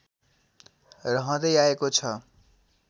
रहँदै आएको छ